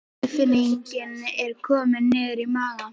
Ónotatilfinningin er komin niður í maga.